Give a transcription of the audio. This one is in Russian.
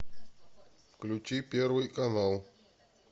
включи первый канал